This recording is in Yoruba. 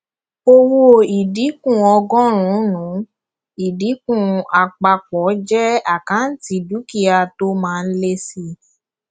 owó ìdínkù ọgọrùnún ìdínkù àpapọ jẹ àkáǹtì dúkìá tó máa ń lé síi